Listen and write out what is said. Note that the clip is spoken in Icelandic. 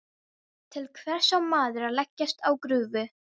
Til hvers á maður að leggjast á grúfu?